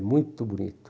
muito bonito.